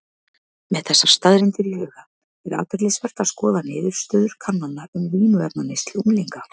Með þessar staðreyndir í huga er athyglisvert að skoða niðurstöður kannana um vímuefnaneyslu unglinga.